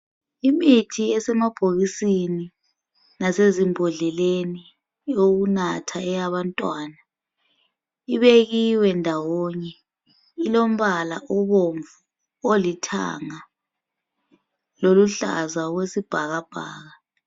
Imithi esemabhokisini lasezimbodleleni eyokunatha eyabantwana ibekiwe ndawonye. Ilombala obomvu, olithanga loluhlaza okwesibhakabhaka.